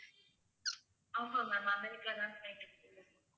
ஆமாம் ma'am America தான்